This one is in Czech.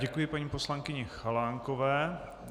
Děkuji paní poslankyni Chalánkové.